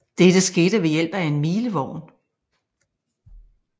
Dette skete ved hjælp af en milevogn